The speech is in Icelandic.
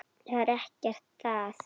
Það er ekkert að.